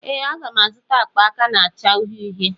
Ee, m ga-azụta akpa aka na-acha uhie uhie.